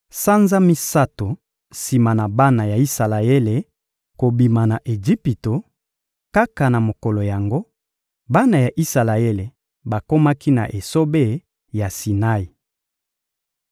Sanza misato sima na bana ya Isalaele kobima na Ejipito, kaka na mokolo yango, bana ya Isalaele bakomaki na esobe ya Sinai.